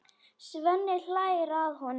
Svenni hlær að honum.